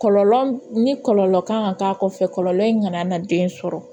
Kɔlɔlɔ ni kɔlɔlɔ kan ka k'a kɔfɛ kɔlɔlɔ in kana na den sɔrɔ